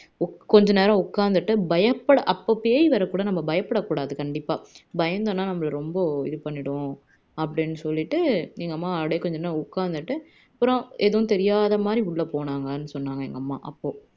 கொஞ்ச நேரம் உக்காந்துட்டு பயப்பட அப்போ பேய் வரக்குள்ள பயப்படக்கூடாது கண்டிபா பயந்தோம்னா நம்மளை ரொம்ப இது பண்ணிடும் அப்படின்னு சொல்லிட்டு அப்படியே கொஞ்ச நேரம் உக்காந்துட்டு அப்பறம் எதுவும் தெரியாத மாதிரி உள்ள போனாங்கன்னு சொன்னாங்க எங்க அம்மா அப்போ